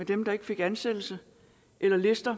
dem der ikke fik ansættelse eller lister